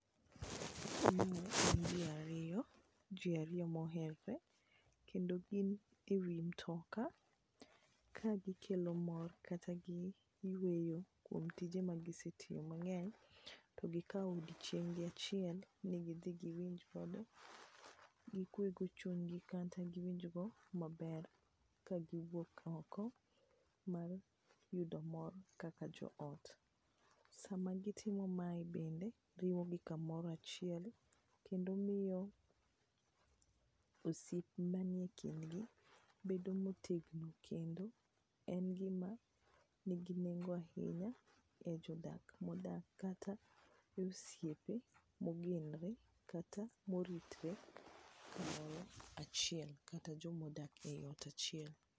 ji ariyo moherre kendo gin e wi mtoka kagikelo mor kata giwuoyo kuom tije magisetiye mang'eny to gikawo odiochienggi achiel ni gidhi giwinj kod gikwego chunygi kata giwinjgo maber kagiwuok oko mar yudo mor kaka joot. Sama gitimo mae bende riwogi kamoro achiel kendo miyo osiep manie kindgi bedo motegno kendo en gima nigi nengo ahinya e jodak modak kata e osiepe mogenre kata moritre achiel kata jomodak e ot achiel.